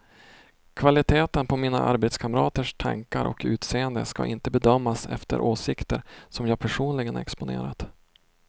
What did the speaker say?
Kvaliteten på mina arbetskamraters tankar och utseende ska inte bedömas efter åsikter som jag personligen exponerat.